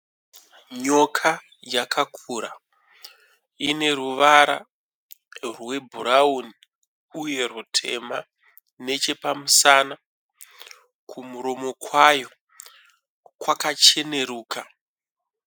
Nyoka yakakura, ineruvara rwebhurawuni uye rutema nechepamusana. Kumuromo kwayo kwakacheneruka.